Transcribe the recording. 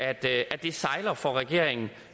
at det sejler for regeringen